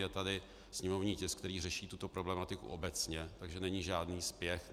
Je tady sněmovní tisk, který řeší tuto problematiku obecně, takže není žádný spěch.